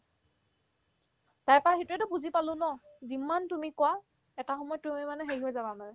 তাইৰ পাই সেইটোয়েতো বুজি পালো ন যিমান তুমি কোৱা এটা সময়ত তুমি মানে হেৰি হৈ যাবা মানে